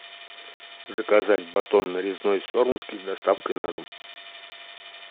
заказать батон нарезной сормовский с доставкой на дом